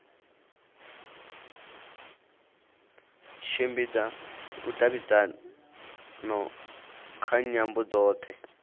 tshimbidza vhudavhidzano kha nyambo dzothe